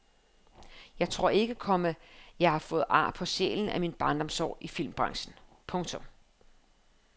Jeg tror ikke, komma jeg har fået ar på sjælen af mine barndomsår i filmbranchen. punktum